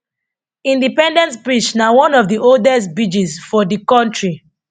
indepence bridge na one of di oldest bidges for di kontri